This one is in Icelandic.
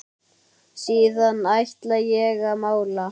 Síðan ætla ég að mála.